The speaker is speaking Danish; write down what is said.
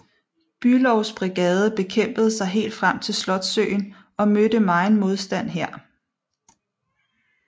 Bülows brigade kæmpede sig helt frem til Slotssøen og mødte megen modstand her